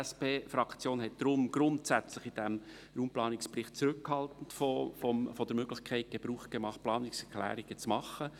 Die SP-Fraktion hat in diesem Raumplanungsbericht grundsätzlich zurückhaltend von der Möglichkeit Gebrauch gemacht, Planungserklärungen einzureichen.